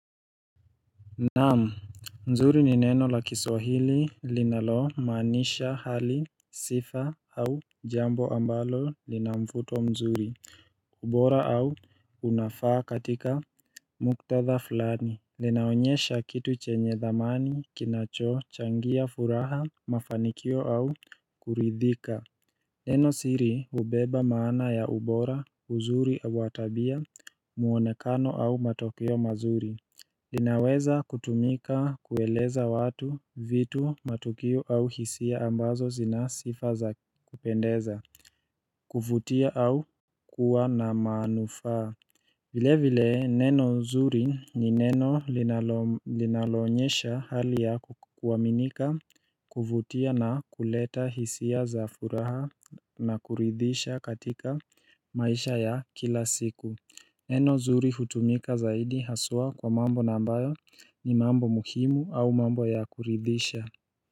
Naam, mzuri ni neno la kiswahili linalomaanisha hali sifa au jambo ambalo lina mvuto mzuri, ubora au unafaa katika muktadha fulani Linaonyesha kitu chenye dhamani kinacho changia furaha mafanikio au kuridhika Neno siri hubeba maana ya ubora uzuri wa tabia muonekano au matokeo mazuri linaweza kutumika kueleza watu, vitu, matukio au hisia ambazo zinasifa za kupendeza kuvutia au kuwa na manufaa vile vile neno zuri ni neno linaloonyesha hali ya kuaminika kuvutia na kuleta hisia za furaha na kuridhisha katika maisha ya kila siku Neno zuri hutumika zaidi haswa kwa mambo ambayo ni mambo muhimu au mambo ya kuridhisha.